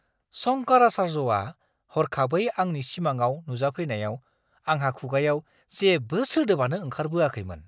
शंकराचार्यआ हरखाबै आंनि सिमांआव नुजाफैनायाव आंहा खुगायाव जेबो सोदोबानो ओंखारबोआखैमोन!